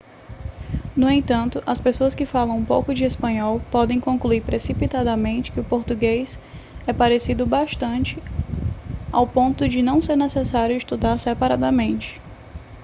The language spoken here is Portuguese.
no entanto as pessoas que falam um pouco de espanhol podem concluir precipitadamente que português é parecido o bastante ao ponto de não ser necessário estudar separadamente